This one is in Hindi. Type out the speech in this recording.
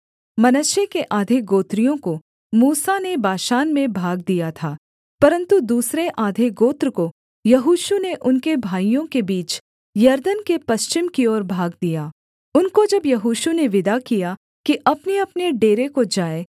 मनश्शे के आधे गोत्रियों को मूसा ने बाशान में भाग दिया था परन्तु दूसरे आधे गोत्र को यहोशू ने उनके भाइयों के बीच यरदन के पश्चिम की ओर भाग दिया उनको जब यहोशू ने विदा किया कि अपनेअपने डेरे को जाएँ